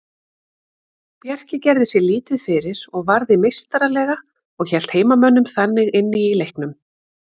Bjarki gerði sér lítið fyrir og varði meistaralega og hélt heimamönnum þannig inni í leiknum.